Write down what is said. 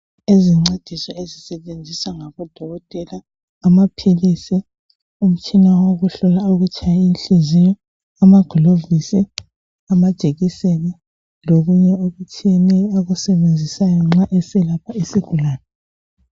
Izincediso ezisetshenziswa ngabodokotela amaphilisi umtshina wokuhlola ukutshaya kwenhliziyo, amagilovisi, amajekiseni lokunye okutshiyeneyo abakusebenzisayo nxa beselapha isigulani.